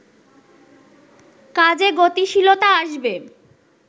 কাজে গতিশীলতা আসবে